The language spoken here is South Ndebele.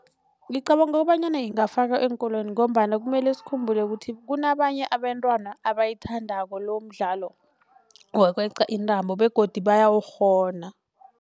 Ngicabanga bonyana ingafakwa eenkolweni ngombana kumele sikhumbule ukuthi kunabanye abentwana abayithandako lomdlalo wokweqa intambo begodu bayawukghona.